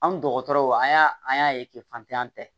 An dɔgɔtɔrɔw an y'a an y'a ye k'e fatan tɛ